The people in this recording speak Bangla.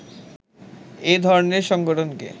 এ ধরণের সংগঠনকে